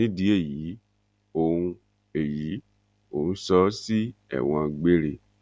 nídìí èyí òun èyí òun sọ ọ sí ẹwọn gbére